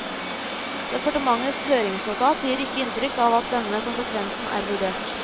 Departementets høringsnotat gir ikke inntrykk av at denne konsekvensen er vurdert.